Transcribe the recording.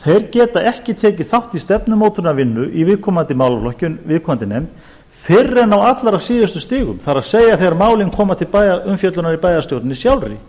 geta ekki tekið þátt í stefnumótunarvinnan í viðkomandi málaflokki viðkomandi nefnd fyrr en á allra síðustu stigum það er þegar málin koma til umfjöllunar í bæjarstjórninni sjálfri